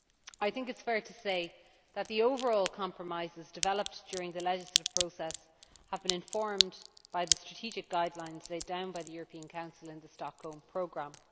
It is fair to say that the overall compromises developed during the legislative process have been informed by the strategic guidelines laid down by the European Council in the Stockholm Programme.